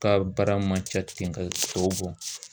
ka baara man ca ten ka tɔw bɔ.